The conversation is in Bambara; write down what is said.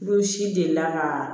Olu si delila ka